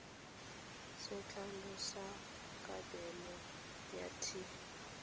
se tlhalosang kabelo ya t